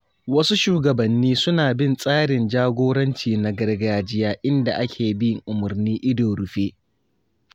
Wasu shugabanni suna bin tsarin jagoranci na gargajiya inda ake bin umarni ido rufe.